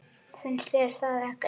Finnst þér það ekki?